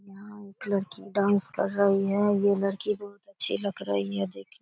यहाँ एक लड़की डांस कर रही है ये लड़की बहुत अच्छी लग रही है देख --